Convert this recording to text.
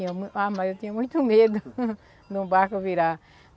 tinha uma. Ah, mas eu tinha muito medo de um barco virar.